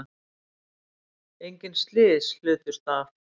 Engin slys hlutust af